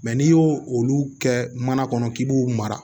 n'i y'o olu kɛ mana kɔnɔ k'i b'u mara